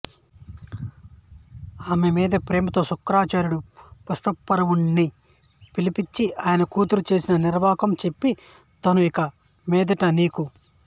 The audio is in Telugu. ఆమె మీది ప్రేమతో శుక్రాచార్యుడు వృషపర్వుడినిపిలిపించిఆయన కూతురు చేసిన నిర్వాకం చెప్పి తాను యిక మీదట నీకు